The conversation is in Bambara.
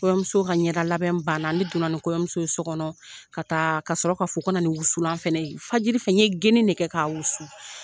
Kɔɲɔmuso ka ɲɛdalabɛn banna ne donna ni kɔɲɔmuso ye so kɔnɔ ka sɔrɔ k'a fo ka na ni wusulan fana ye fajiri fɛn n ye gienin de kɛ k'a wusu